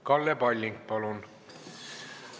Kalle Palling, palun!